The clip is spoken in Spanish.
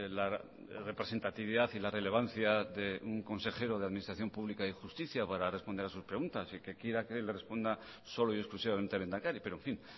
la representatividad y la relevancia de un consejero de administración pública y justicia para responder a sus preguntas y que quiera que le responsa solo y exclusivamente el lehendakari pero en fin